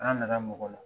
An nana mɔgɔ la